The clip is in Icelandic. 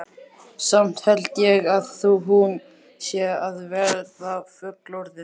Samt held ég að hún sé að verða fullorðin.